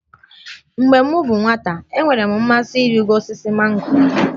Mgbe m bụ nwata, enwere m mmasị ịrịgo osisi mango